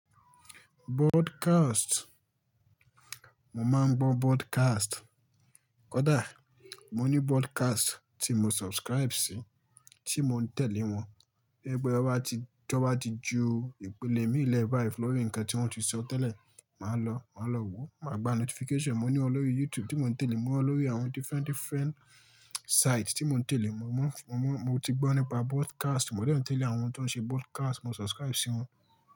Broadcast, mo máa ń gbọ́ broadcast. Kódà mo ní broadcast tí mo subscribe sí, tí mo ń tẹ̀lé wọn. Bí ẹgbẹ́ wa bá ti, tí ó bá ti ju ìpele míì lẹ́ba lọ rí ǹkan tí wọ́n ti sọ tẹ́lẹ̀, màá lọ, màá lọ wo. Màá gba notification, mo ní wọn lórí YouTube tí mo ń tẹ̀lé, mo ní wọn lórí àwọn different different site tí mo ń tẹ̀lé. Mo mọ, mo mọ, mo ti gbọ́ nípa broadcast, mo dẹ̀ rántí tẹ̀lé àwọn tó ń ṣe broadcast, mo subscribe sí wọn.